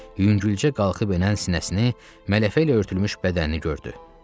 Yüngülcə qalxıb enən sinəsini, mələfə ilə örtülmüş bədənini gördü.